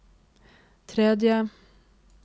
tredje